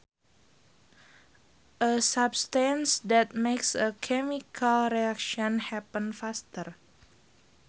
A substance that makes a chemical reaction happen faster